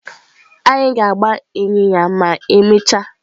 Anyị ga-agba ịnyịnya ma emechaa.